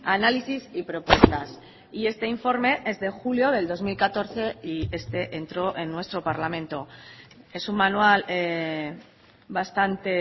análisis y propuestas y este informe es de julio del dos mil catorce y este entró en nuestro parlamento es un manual bastante